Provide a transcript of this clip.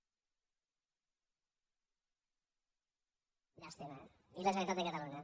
llàstima i la generalitat de catalunya